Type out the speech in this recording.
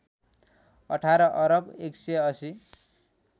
१८ अरब १८०